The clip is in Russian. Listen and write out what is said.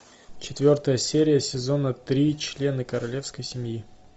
четвертая серия сезона три члены королевской семьи